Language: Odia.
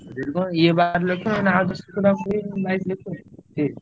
ୟେ ବାର ଲକ୍ଷ ଆଉ ଦଶ ଲକ୍ଷ ଟଙ୍କା ହେଲେ ବାଇଶ ଲକ୍ଷ।